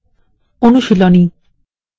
অনুশীলনী :